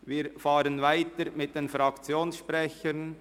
Wir fahren weiter mit den Fraktionssprechern.